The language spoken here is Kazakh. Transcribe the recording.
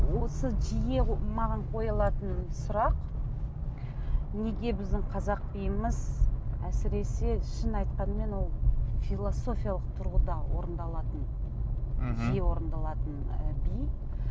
осы жиі маған қойылатын сұрақ неге біздің қазақ биіміз әсіресе шын айтқанымен ол философиялық тұрғыда орындалатын мхм жиі орындалатын ы би